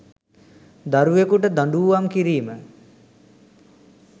දරුවකුට දඬූවම් කිරීම